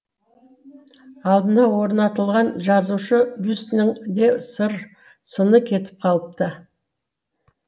алдына орнатылған жазушы бюстінің де сыр сыны кетіп қалыпты